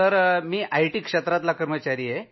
मी IT क्षेत्राचा कर्मचारी आहे